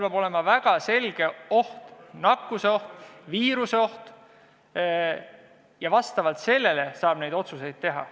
Peab olema väga selge oht – nakkuseoht, viiruseoht –, vastavalt sellele saab neid otsuseid teha.